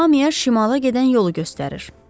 Hamıya şimala gedən yolu göstərir.